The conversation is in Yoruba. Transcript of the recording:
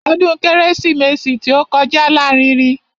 Ọdún kérésìmesì tí ó kọjá lárinrin.